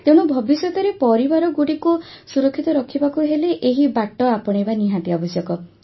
ତେଣୁ ଭବିଷ୍ୟତରେ ପରିବାରଗୁଡ଼ିକୁ ସୁରକ୍ଷିତ ରଖିବାକୁ ହେଲେ ଏହି ବାଟ ଆପଣେଇବା ନିହାତି ଆବଶ୍ୟକ